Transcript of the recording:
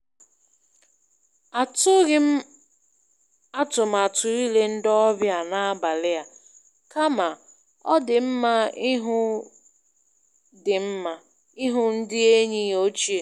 Atụghị m atụmatụ ile ndị ọbịa n'abalị a, kama ọ dị mma ihụ dị mma ihụ ndị enyi ochie.